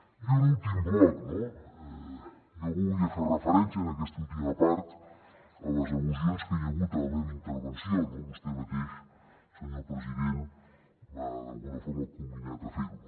i un últim bloc no jo volia fer referència en aquesta última part a les al·lusions que hi ha hagut a la meva intervenció no vostè mateix senyor president m’ha d’alguna forma comminat a fer ho